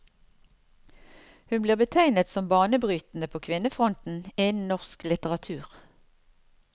Hun blir betegnet som banebrytende på kvinnefronten innen norsk litteratur.